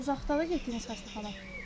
Uzaqdanda getdiniz xəstəxana?